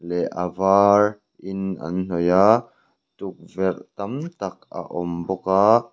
leh avar in an hnawih a tukverh tam tak a awm bawk a--